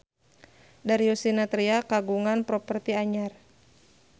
Darius Sinathrya kagungan properti anyar